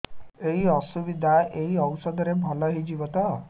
ଏଇ ଅସୁବିଧା ଏଇ ଔଷଧ ରେ ଭଲ ହେଇଯିବ ତ